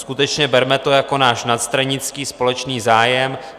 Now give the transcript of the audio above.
Skutečně, berme to jako náš nadstranický společný zájem.